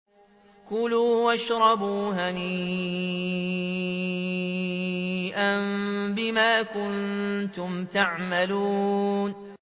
كُلُوا وَاشْرَبُوا هَنِيئًا بِمَا كُنتُمْ تَعْمَلُونَ